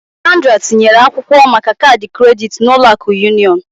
Sandra tinyere akwụkwọ maka kaadị kredit na Ụlọ akụ Union